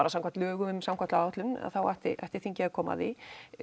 samkvæmt lögum um samgönguáætlun ætti ætti þingið að koma að því